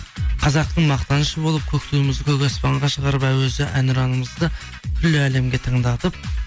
қазақтың мақтанышы болып көк туымызды көк аспанға шығарып әуезді әнұранымызды күллі әлемге тыңдатып